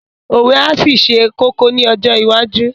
Òwe á ṣì ṣe kókó ní ọjọ́ iwájú